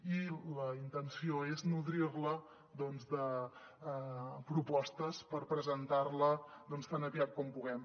i la intenció és nodrir la de propostes per presentar la tan aviat com puguem